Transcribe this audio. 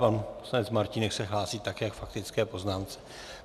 Pan poslanec Martínek se hlásí také k faktické poznámce.